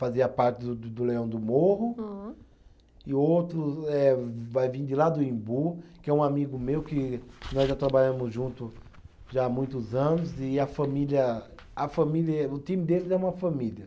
Fazia parte do do do Leão do Morro. Hum. E outro eh vai vir de lá do Imbu, que é um amigo meu que nós já trabalhamos junto, já há muitos anos e a família, a família, o time deles é uma família.